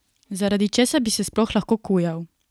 Zaradi česa bi se sploh lahko kujal?